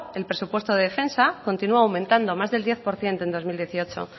el presupuesto de defensa continua aumentando más del diez por ciento en bi mila hemezortzi